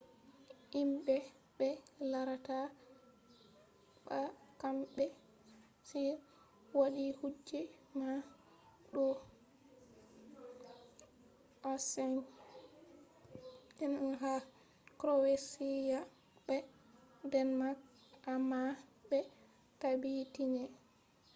himɓe ɓe larata ɓa kamɓe on waɗi kuje man ɗo h5n1 ha kroweshiya be denmak amma ɓe tabbitinai